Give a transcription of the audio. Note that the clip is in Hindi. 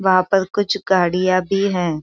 वहां पर कुछ गाडिया भी है।